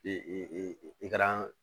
I ka kan